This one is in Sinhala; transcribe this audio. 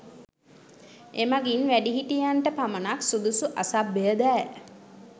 එමඟින් වැඩිහිටියන්ට පමණක් සුදුසු අසභ්‍ය දෑ